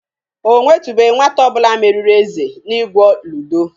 Ọ nwetubeghi nwata ọ bụla meriri Eze n'igwo ludo.